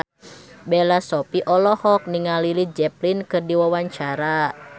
Bella Shofie olohok ningali Led Zeppelin keur diwawancara